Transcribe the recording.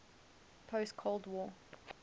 post cold war